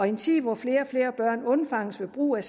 en tid hvor flere og flere børn undfanges ved brug af